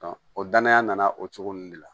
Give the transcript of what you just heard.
o danaya nana o cogo nunnu de la